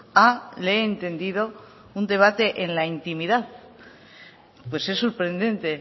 a le he entendido un debate en la intimidad pues es sorprendente